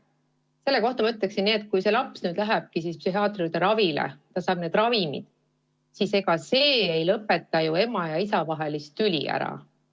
Selle kohta ma ütleksin nii, et kui laps nüüd lähebki psühhiaatri juurde ravile ja saab need ravimid, siis ega see ei lõpeta ema ja isa tüli ära.